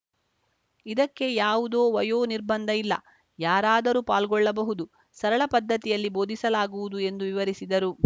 ಇದಕ್ಕೆ ಯಾವುದೋ ವಯೋ ನಿರ್ಬಂಧ ಇಲ್ಲ ಯಾರಾದರೂ ಪಾಲ್ಗೊಳ್ಳಬಹುದು ಸರಳ ಪದ್ಧತಿಯಲ್ಲಿ ಬೋಧಿಸಲಾಗುವುದು ಎಂದು ವಿವರಿಸಿದರು